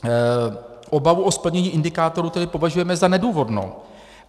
Obavu o splnění indikátorů tedy považujeme za nedůvodnou.